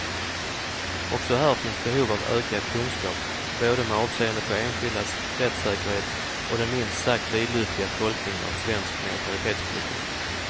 Också här finns behov av ökad kunskap, både med avseende på enskildas rättssäkerhet och den minst sagt vidlyftiga tolkningen av svensk neutralitetspolitik.